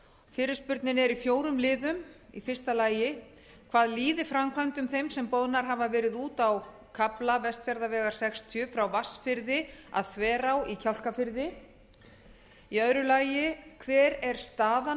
fyrirspurnin er í fjórum líðum fyrstu hvað líður framkvæmdum þeim sem boðnar hafa verið út á kafla vestfjarðavegar sextíu frá vatnsfirði að þverá í kjálkafirði annar hver er staðan